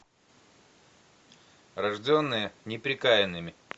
рожденные неприкаянными